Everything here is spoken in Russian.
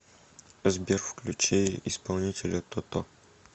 сбер включи исполнителя тото